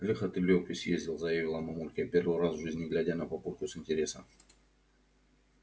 лихо ты лёвке съездил заявила мамулька первый раз в жизни глядя на папульку с интересом